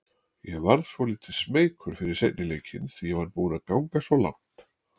Ég varð svolítið smeykur fyrir seinni leikinn því ég var búinn að ganga svo langt.